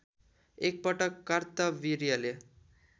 एक पटक कार्तवीर्यले